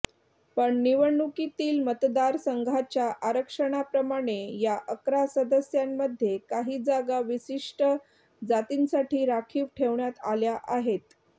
पण निवडणुकीतील मतदारसंघाच्या आरक्षणाप्रमाणे या अकरा सदस्यांमध्ये काही जागा विशिष्ट जातींसाठी राखीव ठेवण्यात आल्या आहेत